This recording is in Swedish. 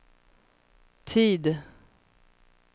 tid